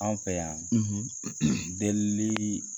Anw fɛ yan, delili